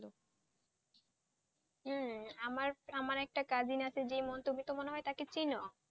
হম আমার একটা cousin আছে তুমিতো মনে হয় তাকে চিনো?